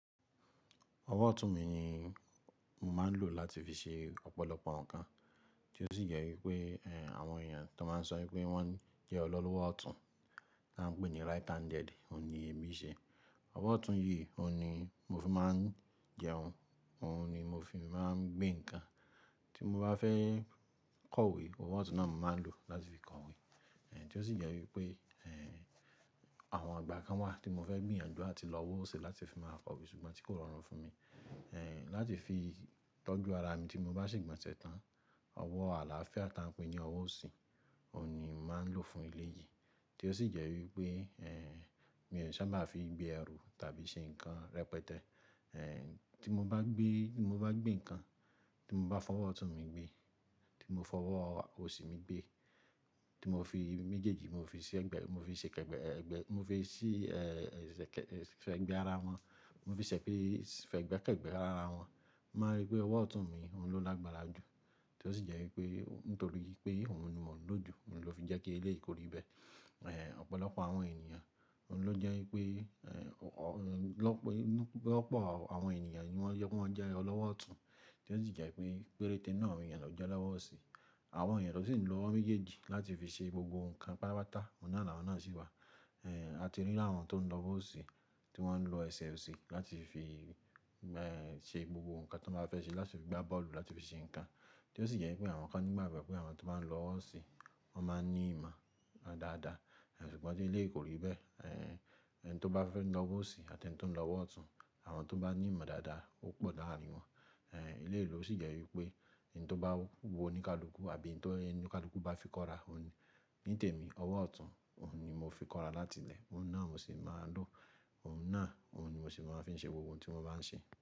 Ọwọ́ ọ̀tún mi ni mo máa ń lò láti fi ṣe ọ̀pọ̀lọpọ̀ ǹkan, tí ó sì jẹ́ wípé àwọn èèyàn tó máa ń sọ wípé wọ́n jẹ́ ọlọ́wọ́ ọ̀tún, tí a ń pè ní right handed, òhun ni èmi n ṣe. Ọwọ́ ọ̀tún yìí, òhun ni mo fi máa ń jẹun, òhun ni mo fi máa ń gbé nkan, tí mo bá fẹ́ kọ̀wé, ọwọ́ ọ̀tún náà mp màá n lò láti fi kọ̀wé. Èyi tí ó sì jẹ́ wípé, èé, àwọn igbá kan wà tí mo fẹ́ gbìyànjú áti lọ ọwọ́ ọ̀si láti fi máa kọ̀wé ṣùgbọ́n tí kò rọrùn fún mi. Láti fi tọ́jú ara mi tí mo bá se igbọ̀nṣẹ tán, ọwọ́ àlàáfíà tí a ń pè ní ọwọ́ ọ̀sì, òhun ni mo màá ń lò fún eléyìí. Tí ó sì jẹ́ wípé, èé, mi n sábà fi gbé ẹrù tàbí ṣe nkan rẹpẹtẹ. Ẹ̀, tí mo bá gbé, tí mo bá gbé ǹkan, tí mo bá fọwọ́ ọ̀tún mi gbé, tí mo fọwọ́ ọ̀sì mi gbé, tí mo fi méjèèjì, mo fi ṣi ẹ̀gbẹ́, mo fi ṣe kẹ́gbẹ́, mo fi sí, ẹ́ ẹ́, fẹ́gbé ara wọn, mo fi ṣẹ̀ pé fẹ́gbé kẹ́gbẹ́ ara wọn, mo máa n rí pé ọwọ́ ọ̀tún mi òhun ló lágbára jù. Tí ó sì jẹ́ wípé nítorí wipé òhun ni mò ń lò jù, òhun ló fi jẹ́ kí eléyìí ko rí bẹ́ẹ̀. Ẹ̀, ọ̀pọ̀lọpọ̀ àwọn ènìyàn, òhun ló jẹ́ wípé, èé, lọ́pọ̀ àwọn ènìyàn ni wọ́n jẹ́ wípé wọ́n jẹ́ ọlọ́wọ́ ọ̀tún, tí ó sì jẹ́ wípé péréte náà ni èèyàn tọ jẹ́ olọ́wọ́ ọ̀sì. Àwọn èèyàn tọ sì ń lo ọwọ́ méjèèjì láti fi ṣe gbogbo ǹkan pátápatá, òhun náà làwọn náà sì wà. A ti rí áwọn tó ń lọ ọwọ́ ọ̀sì tí wọ́n ń lo ẹsẹ̀ ọ̀sì láti fi, ẹ́ ẹ́, ṣe gbogbo ǹkan tí wọ́n bá fẹ́ ṣe, láti fi gbá bọ́ọ̀lù, láti fi ṣe ǹkan. Tí ó sì jẹ́ wípé àwọn kan ní ìgbàgbọ́ pé àwọn tó ba ń lọ ọwọ́ ọ̀sì wọ́n máa ń ní ìmọ̀ dáadáa, èé, ṣùgbọ́n tí eléyìí kò rí bẹ́ẹ̀. Ẹni tó bá fẹ́ lọ ọwọ́ ọ̀sì àti ẹni tó ń lọ ọwọ́ ọ̀tún, àwọn tó bá ní ìmọ̀ dáadáa ó pọ̀ láàrin wọn. Eléyìí ló sì jẹ́ wípé in tó bá wu oníkálukú àbí in tó oníkálukú bá fi kọ́ra, òhun ni nítẹ̀mí ọwọ́ ọ̀tún, òhun ni mo fi kọ́ra láti ilẹ̀, òhun náà mo sì máa ń lò, òhun náà òhun ni mo sì máa ń fi ṣe gbogbo ohun tí mo bá ń ṣe.